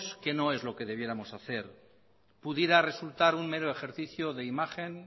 que no es lo que deberíamos hacer pudiera resultar un mero ejercicio de imagen